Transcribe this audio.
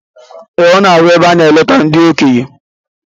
Ee, ọ na-arụ ebe a na -eleta ndị okenye